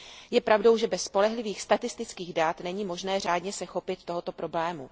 Je pravdou, že bez spolehlivých statistických dat není možné řádně se chopit tohoto problému.